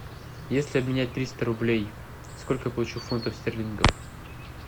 если обменять триста рублей сколько я получу фунтов стерлингов